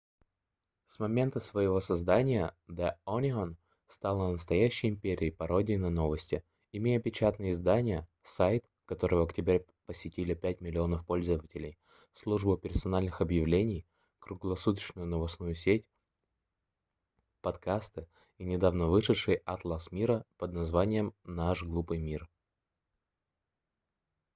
с момента своего создания the onion стала настоящей империей пародий на новости имея печатное издание сайт который в октябре посетили 5 000 000 пользователей службу персональных объявлений круглосуточную новостную сеть подкасты и недавно вышедший атлас мира под названием наш глупый мир